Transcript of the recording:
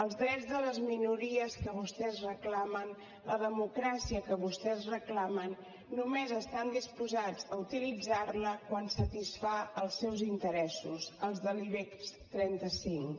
els drets de les minories que vostès reclamen la democràcia que vostès reclamen només estan disposats a utilitzar la quan satisfà els seus interessos els de l’ibex trenta cinc